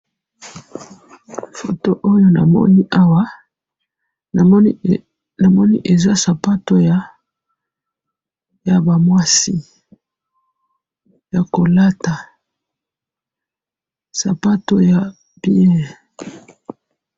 Namoni sapato mibale ya basi ya kolata.